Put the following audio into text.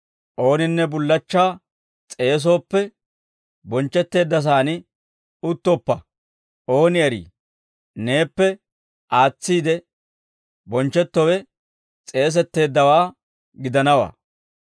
«Ooninne bullachchaa s'eesooppe, bonchchetteeddasaan uttoppa; ooni eri neeppe aatsiide bonchchettowe s'eesetteeddawaa gidanawaa.